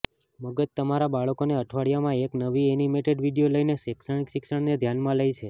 મગજ તમારા બાળકોને અઠવાડિયામાં એક નવી એનિમેટેડ વિડિઓ લઈને શૈક્ષણિક શિક્ષણને ધ્યાનમાં લે છે